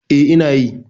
E, ina yi.